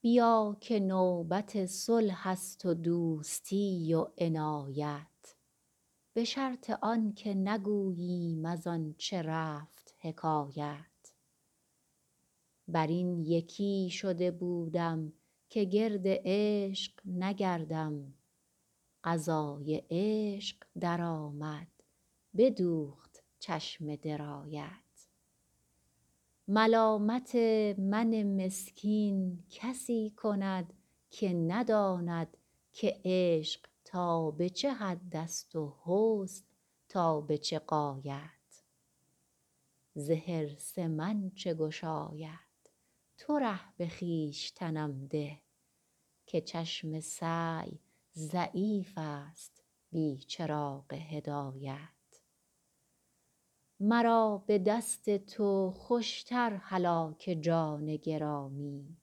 بیا که نوبت صلح است و دوستی و عنایت به شرط آن که نگوییم از آن چه رفت حکایت بر این یکی شده بودم که گرد عشق نگردم قضای عشق درآمد بدوخت چشم درایت ملامت من مسکین کسی کند که نداند که عشق تا به چه حد است و حسن تا به چه غایت ز حرص من چه گشاید تو ره به خویشتنم ده که چشم سعی ضعیف است بی چراغ هدایت مرا به دست تو خوش تر هلاک جان گرامی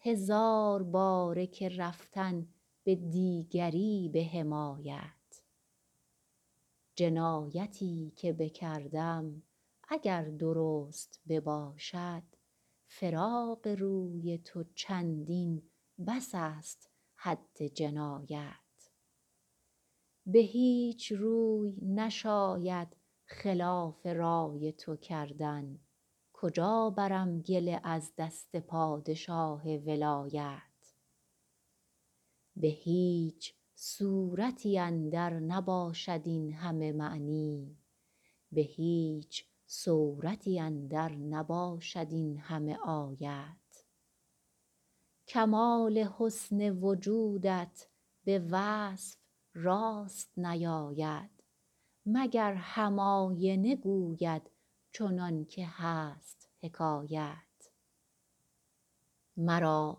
هزار باره که رفتن به دیگری به حمایت جنایتی که بکردم اگر درست بباشد فراق روی تو چندین بس است حد جنایت به هیچ روی نشاید خلاف رای تو کردن کجا برم گله از دست پادشاه ولایت به هیچ صورتی اندر نباشد این همه معنی به هیچ سورتی اندر نباشد این همه آیت کمال حسن وجودت به وصف راست نیاید مگر هم آینه گوید چنان که هست حکایت مرا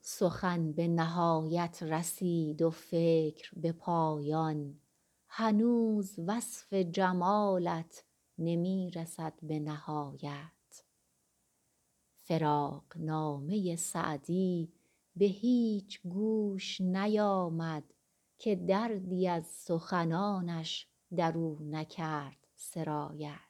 سخن به نهایت رسید و فکر به پایان هنوز وصف جمالت نمی رسد به نهایت فراقنامه سعدی به هیچ گوش نیامد که دردی از سخنانش در او نکرد سرایت